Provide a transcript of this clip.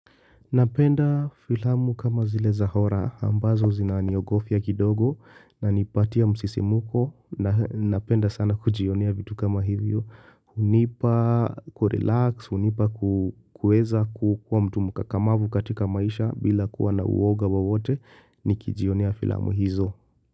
Napenda filamu kama zile za horrror ambazo zinaniogofia kidogo, nanipatia msisimko na napenda sana kujionea vitu kama hivyo. Hunipa kurelax, hunipa kuweza kukuwa mtu mkakamavu katika maisha bila kuwa na uoga wowote nikijionea filamu hizo.